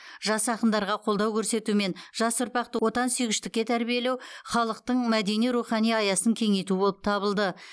жас ақындарға қолдау көрсету мен жас ұрпақты отансүйгіштікке тәрбиелеу халықтың мәдени рухани аясын кеңейту болып табылды